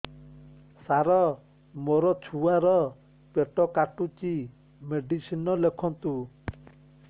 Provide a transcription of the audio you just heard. ସାର ମୋର ଛୁଆ ର ପେଟ କାଟୁଚି ମେଡିସିନ ଲେଖନ୍ତୁ